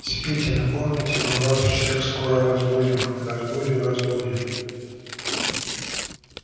спите но помните мы вас всех скоро разбудим разбудим разбудим